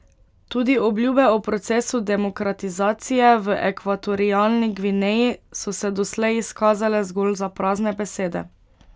Tudi obljube o procesu demokratizacije v Ekvatorialni Gvineji so se doslej izkazale zgolj za prazne besede.